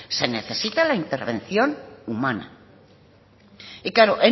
se necesita la intervención humana y claro